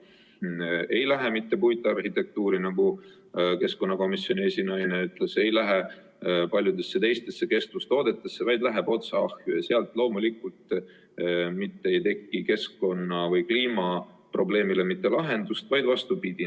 See ei lähe mitte puitarhitektuuri, nagu keskkonnakomisjoni esinaine ütles, ei lähe paljudesse teistesse kestvustoodetesse, vaid läheb otse ahju ja sealt loomulikult ei teki keskkonna‑ või kliimaprobleemile mitte lahendust, vaid vastupidi.